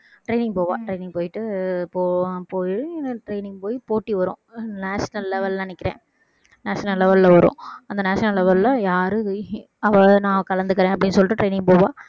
training போவா training போயிட்டு போவோம் போயி training போயி போட்டி வரும் national level ன்னு நினைக்கிறேன் national level ல வரும் அந்த national level ல யாரும் அவ நான் கலந்துக்குறேன் அப்படின்னு சொல்லிட்டு training போவா